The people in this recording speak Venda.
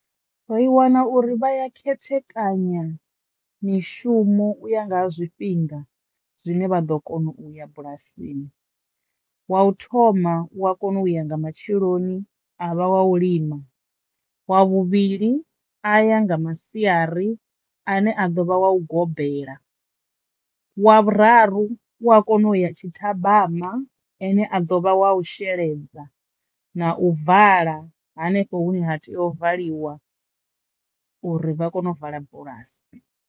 Ri wana uri vhaya khethekanya mishumo u ya nga ha zwifhinga zwine vha ḓo kona uya bulasini wa u thoma u wa kona u ya nga matsheloni a vha wa u lima, wa vhuvhili a ya nga masiari ane a ḓovha wa u gobela, wa vhuraru u wa kona u ya tshithabama ane a ḓo vha wa u sheledza na u vala hanefho hune ha tea u valiwa uri vha kono u vala bulasi.